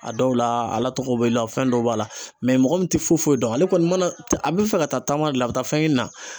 A dɔw la ala tɔgɔ b'i la , fɛn dɔw b'a la mɔgɔ min ti foyi foyi dɔn, ale kɔni mana a b'i fɛ ka taa taama la ka taa fɛn ɲini na